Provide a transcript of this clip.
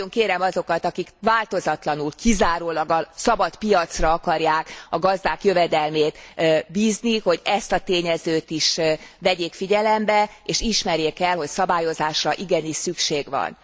Nagyon kérem azokat, akik változatlanul kizárólag a szabadpiacra akarják a gazdák jövedelmét bízni, hogy ezt a tényezőt is vegyék figyelembe, és ismerjék el, hogy szabályozásra igenis szükség van.